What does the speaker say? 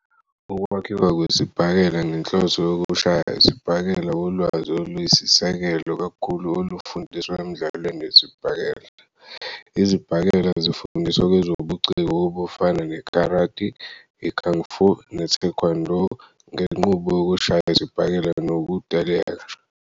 Ukwakhiwa kwesibhakela ngenhloso yokushaya isibhakela ulwazi oluyisisekelo kakhulu olufundiswa emdlalweni wesibhakela. Izibhakela zifundiswa kwezobuciko obufana nekarati, i-kung fu, ne-taekwondo ngenqubo yokushaya isibhakela nokuteleka.